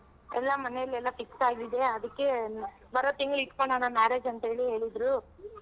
ಎಲ್ಲಾ ಮನೆಲೆಲ್ಲಾ fix ಆಗಿದೆ ಅದಿಕ್ಕೆ ಬರೋ ತಿಂಗ್ಳ್ ಇಟ್ಕೊಣಣ marriage ಅಂತ್ ಹೇಳಿ ಹೇಳಿದ್ರು.